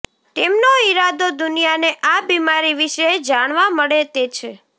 તેમનો ઈરાદો દુનિયાને આ બીમારી વિશે જાણવા મળે તે છે